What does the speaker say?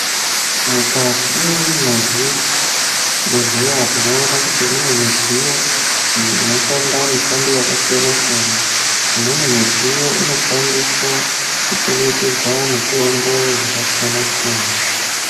Mukati mwezvibhedhlera tinoona kuti mune midziyo iyo inoshanda mishando yakasiyana siyana imweni midziyo inoshandiswa kuchengetedza mitombo yakasiyana siyana.